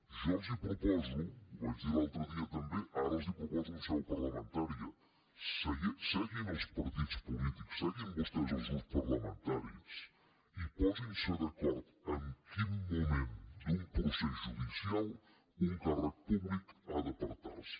jo els proposo ho vaig dir l’altre dia també ara els ho proposo en seu parlamentària seguin els partits polítics seguin vostès els grups parlamentaris i posin se d’acord en quin moment d’un procés judicial un càrrec públic ha d’apartar se